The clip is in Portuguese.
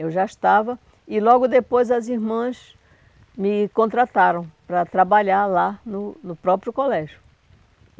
Eu já estava, e logo depois as irmãs me contrataram para trabalhar lá no no próprio colégio.